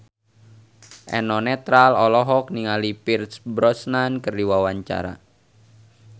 Eno Netral olohok ningali Pierce Brosnan keur diwawancara